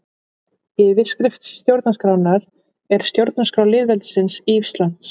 Yfirskrift stjórnarskrárinnar er Stjórnarskrá lýðveldisins Íslands.